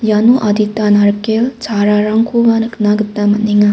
iano adita narikel chararangkoba nikna gita man·enga.